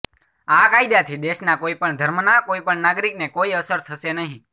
આ કાયદાથી દેશના કોઈપણ ધર્મના કોઈપણ નાગરિકને કોઈ અસર થશે નહીં